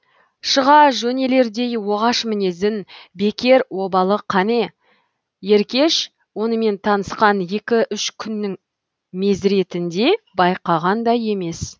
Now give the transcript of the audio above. шыға жөнелердей оғаш мінезін бекер обалы қане еркеш онымен танысқан екі үш күннің мезіретінде байқаған да емес